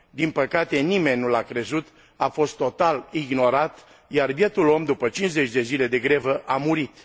Din păcate, nimeni nu l a crezut, a fost total ignorat, iar bietul om după cincizeci de zile de grevă a murit.